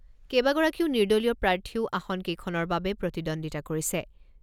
কেইবাগৰাকীও নিৰ্দলীয় প্ৰাৰ্থীও আসনকেইখনৰ বাবে প্ৰতিদ্বন্দ্বিতা কৰিছে।